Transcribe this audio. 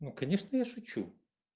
ну конечно я шучу